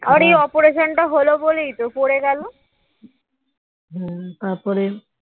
এই অপারেশনটা হলো বলেই তো পড়ে গেল